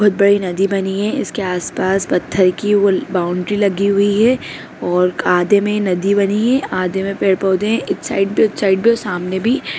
बहुत बड़ी नदी बनी है इसके आस-पास पत्थर की वो बाउंड्री लगी हुई है और आधे में नदी बनी है आधे में पेड़-पौधे हैं इस साइड भी उस साइड भी और सामने भी।